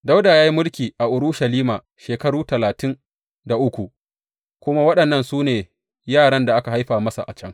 Dawuda ya yi mulki a Urushalima shekaru talatin da uku, kuma waɗannan su ne yaran da aka haifa masa a can.